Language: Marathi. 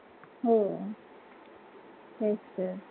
हो तेच तर